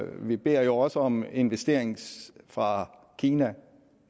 vi beder jo også om investeringer fra kina